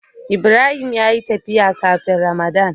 Ibrahim ya yi tafiya kafin ramadan.